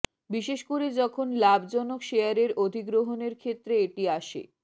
বিশেষ করে যখন লাভজনক শেয়ারের অধিগ্রহণের ক্ষেত্রে এটি আসে